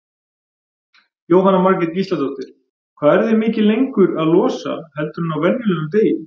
Jóhanna Margrét Gísladóttir: Hvað eruð þið mikið lengur að losa heldur en á venjulegum degi?